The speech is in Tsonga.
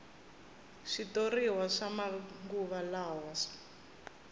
switoriwa swa manguva lawa